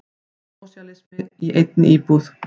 Sósíalismi í einni íbúð.